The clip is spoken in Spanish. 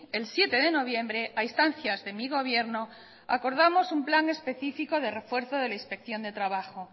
el siete de noviembre a instancias de mi gobierno acordamos un plan específico de refuerzo de inspección de trabajo